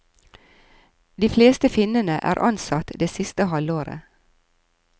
De fleste finnene er ansatt det siste halvåret.